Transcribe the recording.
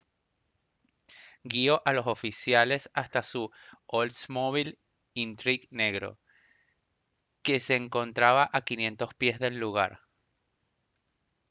guio a los oficiales hasta su oldsmobile intrigue negro que se encontraba a 500 pies del lugar